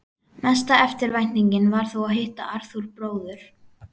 Mesta eftirvæntingin var þó að hitta Arthúr bróður.